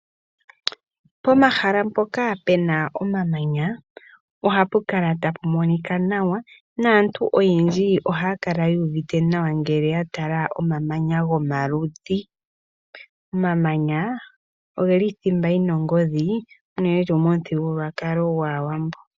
Pomahala mpoka pena omamanya ohapu kala tapù monika nawa. Aantu oyendji ohaya kala yuuvite nawa ngele ya tala omamanya gomaludhi. Omamanya ogeli othimba yina ongodhi unene tuu momuthigululwakalo gwAawambo.